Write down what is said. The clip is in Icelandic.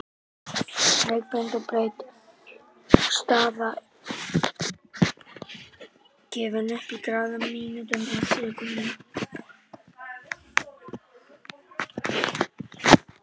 Lengd og breidd staða er þannig gefin upp í gráðum, mínútum og sekúndum.